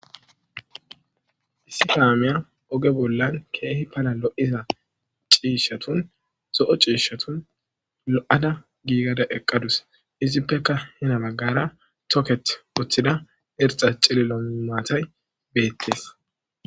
Issi kamiya oge dunan cishatun kehi daro lo'iya cishatun lo'a lo'ada gigida eqadus izippeka hani bagara toketi uttido cililo matay betes